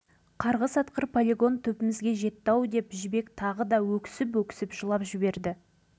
сөйтсек біз ядролық сынақтың өтінде тұрып қанша емдесе де жазылмайтын дертке шалдыққан екенбіз ғой